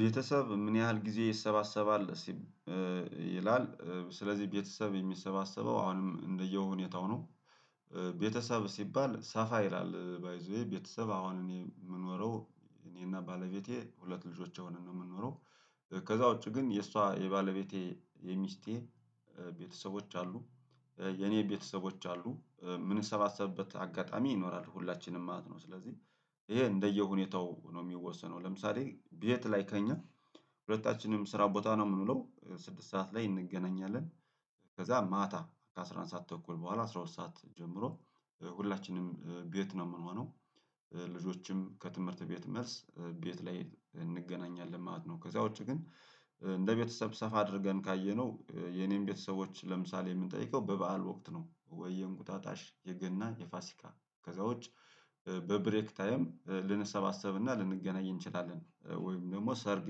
ቤተሰብ ምን ያህል ጊዜ ይሰባሰባል? ይላል ስለዚህ ቤተሰብ የሚሰባሰበው አሁንም እንደየሁኔታው ነው። ቤተሰብ ሲባል ሰፋ ይላል ባይ ዘ ዌይ ቤተሰብ አሁን እኔ የምኖረው እኔና ባለቤቴ ሁለት ልጆቼ አሁነን ነው የምኖረው። ከዛ ውጪ ግን የእሷ የባለቤቴ የሚስቴ ቤተሰቦች አሉ። የኔ ቤተሰቦች አሉ ምን ሰባሰብበት አጋጣሚ ይኖራል ሁላችንም ማለት ነው። ስለዚህ ይሄ እንደየሁኔታው ነው የሚወሰነው ለምሳሌ ቤት ላይ ከእኛ ሁለታችንም ስራ ቦታ ነው የምንለው ስድስት ሰዓት ላይ እንገናኛለን። ከዛ ማታ ከአሥራ አንድ ሰዓት ተኩል በኋላ አስራ ሁለት ሰዓት ጀምሮ ሁላችንም ቤት ነው የምንሆነው። ልጆችም ከትምህርት ቤት መልስ ቤት ላይ እንገናኛለን ማለት ነው። ከዚያ ውጪ ግን እንደ ቤተሰብ ሰፋ አድርገን ካየነው የኔን ቤተሰቦች ለምሳሌ የምንጠይቀው በበዓል ወቅት ነው? ወይ የእንቁጣጣሽ የገናን የፋሲካ ከዛ ውጭ በብሬክ ታይም ልንሰባሰብና ልንገናኝ እንችላለን ወይም ደግሞ ሰርግ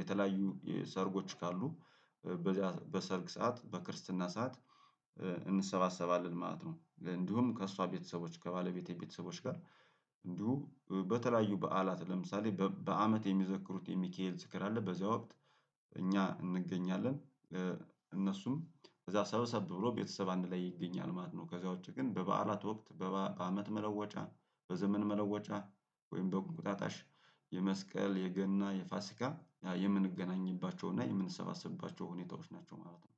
የተለያዩ ሰርጎች ካሉ በሰርግ ሰዓት በክርስትና ሰዓት እንሰባሰባለን ማለት ነው። እንዲሁም ከእሷ ቤተሰቦች ከባለቤቴ ቤተሰቦች ጋር እንዲሁ በተለያዩ በዓላት ለምሳሌ በአመት የሚዘክሩት የሚካኤል ዝክር አለ በዚያ ወቅት እኛ እንገኛለን። እነሱም ከዛ ሰበሰብ ብሎ ቤተሰብ አንድ ላይ ይገኛል ማለት ነው። ከዛ ውጪ ግን በበዓላት ወቅት በአመት መለወጫ በዘመን መለወጫ ወይም በቁጣጣሽ የመስቀል የገና የፋሲካ የምንገናኝባቸው እና የምንሰባሰብባቸው ሁኔታዎች ናቸው ማለት ነው።